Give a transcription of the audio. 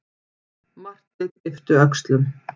Marteinn yppti öxlum.